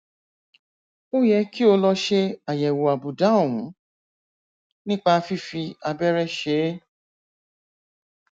ó yẹ kí o lọ ṣe àyẹwò àbùdá ọhún nípa fífi abẹrẹ ṣe é